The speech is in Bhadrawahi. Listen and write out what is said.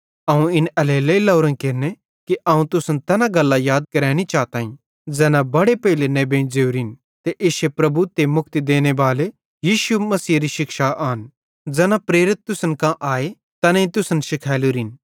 अवं इन एल्हेरेलेइ लोरोईं केरने कि अवं तुसन तैना गल्लां याद करैनी चाताईं ज़ैना बड़े पेइले नेबेईं ज़ोरिन ते इश्शे प्रभु ते मुक्ति देने बाले यीशु मसीहेरी शिक्षा आन ज़ैना प्रेरित तुसन कां आए तैनेईं तुसन शिखैलोरिन